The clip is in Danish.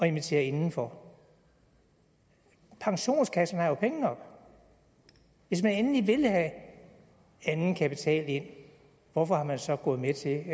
invitere indenfor pensionskasserne har jo penge nok hvis man endelig vil have anden kapital ind hvorfor er man så gået med til at